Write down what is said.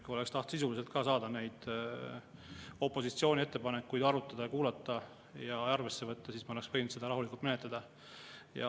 Kui oleks tahetud ka sisuliselt opositsiooni ettepanekuid arutada, neid kuulata ja arvesse võtta, siis me oleksime võinud seda rahulikult menetleda.